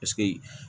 Paseke